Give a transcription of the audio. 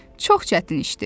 Çox çətin işdir.